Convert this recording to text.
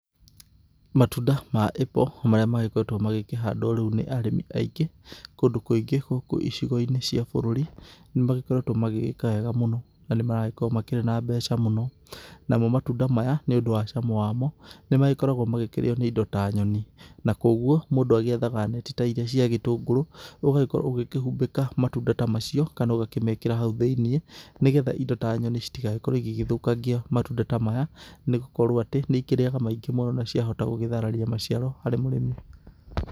Matunda ma apple marĩa magĩkoretwo magĩkĩandwo rĩu nĩ arĩmi aingĩ kũndũ kũingĩ gũkũ icigo-inĩ cia bũrũri nĩ magĩkoretwo magĩka wega mũno na nĩ maragĩkorwo makĩrĩ na mbeca mũno, namo matunda maya nĩũndũ wa cama wamo, nĩ magĩkoragwo magĩkĩrĩo nĩ indo ta nyoni, na kũguo mũndũ agĩethaga neti ta iria cia gĩtũngũrũ, ũgagĩkorwo ũgĩkĩhumbĩka matunda ta macio kana ũgakĩmekĩra hau thĩ-inĩ, nĩgetha indo ta nyoni citigagĩkorwo igĩgĩthũkangia matunda ta maya nĩ gũkorwo atĩ nĩ ikĩrĩaga maingĩ mũno na ciahota gũgĩthararia maciaro harĩ mũrĩmi.